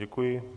Děkuji.